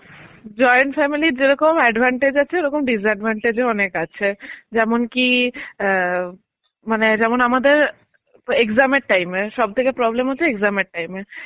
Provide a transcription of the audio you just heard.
join family এর যেরকম advantage আছে ওরকম disadvantage ও অনেক আছে. যেমন কি আ মানে যেমন আমাদের exam এর time এ সবথেকে problem হচ্ছে exam time এ.